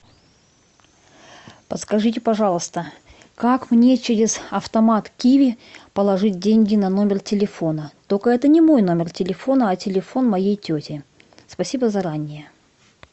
подскажите пожалуйста как мне через автомат киви положить деньги на номер телефона только это не мой номер телефона а телефон моей тети спасибо заранее